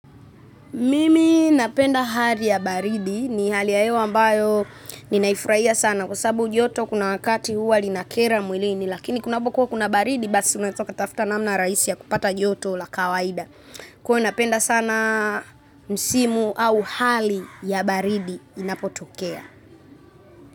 Mimi napenda hali ya baridi ni hali ya hewa ambayo ninaifurahia sana kwa sababu joto kuna wakati huwa linakera mwilini lakini kunapokuwa kuna baridi basi unaeza ukatafta namna rahisi ya kupata joto la kawaida. Kwa napenda sana msimu au hali ya baridi inapotokea.